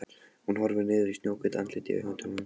Hún horfir niður í snjóhvítt andlitið í höndum hans.